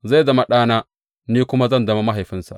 Zai zama ɗana, ni kuma zan zama mahaifinsa.